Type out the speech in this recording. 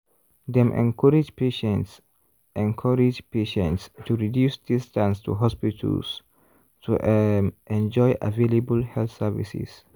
dem encourage patients encourage patients to reduce distance to hospitals to um enjoy available health services.